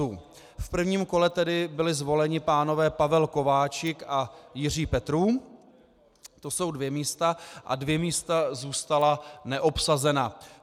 V prvním kole tedy byli zvoleni pánové Pavel Kováčik a Jiří Petrů, to jsou dvě místa, a dvě místa zůstala neobsazena.